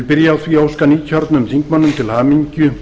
því að óska nýkjörnum þingmönnum til hamingju og